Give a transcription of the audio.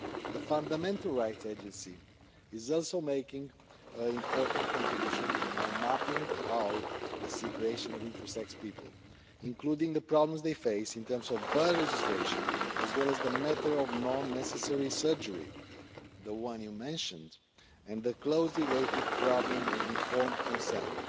The Fundamental Rights Agency is also making important contributions by mapping out the situation of intersex people, including the problems they face in terms of birth registration as well as the matter of non necessary surgery which you mentioned and the closely related problem of informed consent.